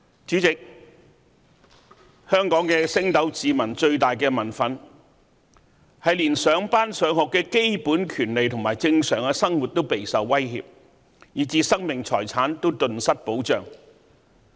主席，香港升斗市民最大的民憤，是連上班、上學的基本權利和正常的生活都備受威脅，以致生命財產也頓失保障。